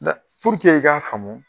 Ŋa i k'a faamu